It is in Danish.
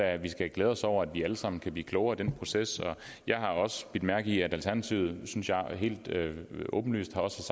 at vi skal glæde os over at vi alle sammen kan blive klogere i den proces og jeg har også bidt mærke i at alternativet synes jeg helt åbenlyst også